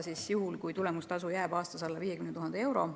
Seda juhul, kui nende tulemustasu jääb aastas alla 50 000 euro.